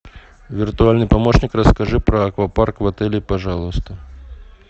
виртуальный помощник расскажи про аквапарк в отеле пожалуйста